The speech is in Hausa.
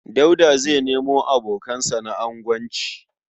Dauda zai nemo abokansa na agonci.